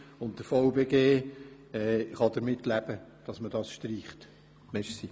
Der VBG kann mit dieser Streichung leben.